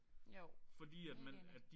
Jo helt enig